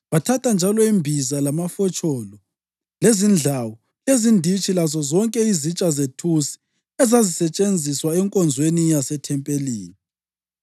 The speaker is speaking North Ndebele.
Bathatha njalo imbiza, lamafotsholo, lezindlawu, lezinditshi lazozonke izitsha zethusi ezazisetshenziswa enkonzweni yasethempelini.